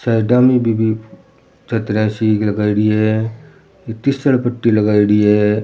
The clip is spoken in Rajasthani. साइडा में भी छतरिया सी लगाईडी है तीसल पट्टी लगाईडी है।